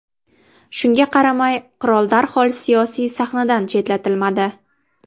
Shunga qaramay, qirol darhol siyosiy sahnadan chetlatilmadi.